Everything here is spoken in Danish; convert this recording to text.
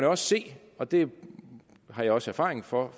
også se og det har jeg også erfaring for